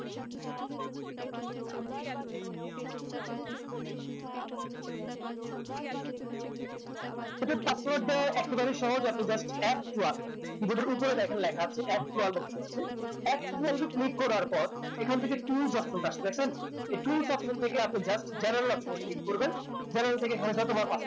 এই যে password দেওয়া একবারেই সহজ আপনি just f twelvekeyboard এর উপরে দেখেন লেখা আছে f twelve option আছে f twelve এ click করার পর এখান থেকে tools option টা আছে দেখছেন এই tools option থেকে আপনি just general option এ click করবেন general থেকে আপনি যত বার